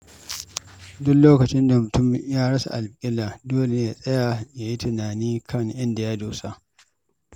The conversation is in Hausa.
Duk lokacin da mutum ya rasa alƙibla, dole ne ya tsaya don yin tunani kan inda ya dosa.